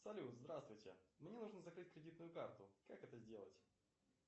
салют здравствуйте мне нужно закрыть кредитную карту как это сделать